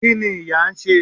kini ìyá n se